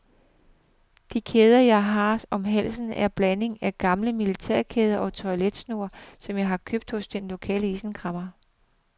De kæder jeg har om halsen er en blanding af gamle militærkæder og toiletsnore, som jeg har købt hos den lokale isenkræmmer.